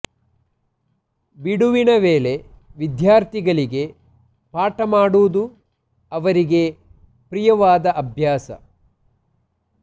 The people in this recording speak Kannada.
ಬಿಡುವಿನ ವೇಳೆ ವಿದ್ಯಾರ್ಥಿಗಳಿಗೆ ಪಾಠ ಮಾಡುವುದು ಅವರಿಗೆ ಪ್ರಿಯವಾದ ಅಭ್ಯಾಸ